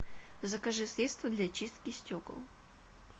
закажи средство для чистки стекол